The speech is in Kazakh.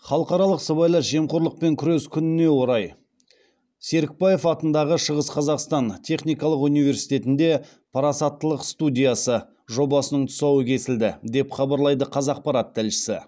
халықаралық сыбайлас жемқорлықпен күрес күніне орай серікбаев атындағы шығыс қазақстан техникалық университетінде парасаттылық студиясы жобасының тұсауы кесілді деп хабарлайды қазақпарат тілшісі